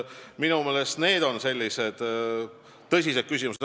Minu meelest on need tõsised küsimused.